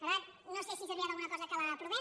per tant no sé si servirà d’alguna cosa que l’aprovem